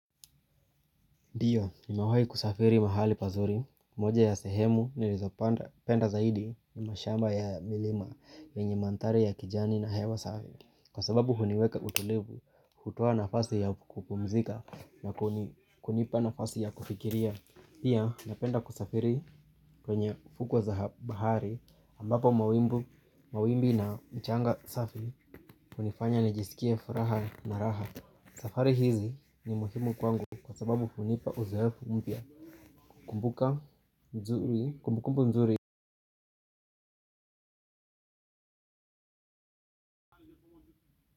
Ndio nimewahi kusafiri mahali pazuri, moja ya sehemu nilizopenda zaidi ni mashamba ya milima yenye mandhari ya kijani na hewa safi, kwa sababu huniweka utulivu, hutoa nafasi ya kupumzika na kunipa nafasi ya kufikiria. Pia napenda kusafiri kwenye fukwe za bahari ambapo mawimbi na mchanga safi hunifanya nijisikie furaha na raha. Safari hizi ni muhimu kwangu kwa sababu hunipa uzoefu mpya. Kumbuka mzuri. Kumbukumbu nzuri.